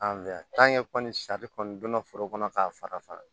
An fɛ yan kɔni sari kɔni donna foro kɔnɔ k'a fara fara